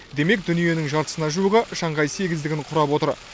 демек дүниенің жартысына жуығы шанхай сегіздігін құрап отыр